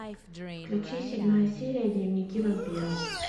включи седьмая серия дневники вампира